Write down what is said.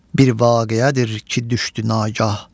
Bir vaqiyədir ki, düşdü nagah.